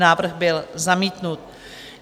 Návrh byl zamítnut.